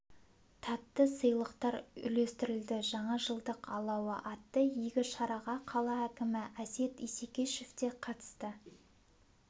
тәтті сыйлықтар үлестірілді жаңа жылдық алауы атты игі шараға қала әкімі әсет исекешев те қатысты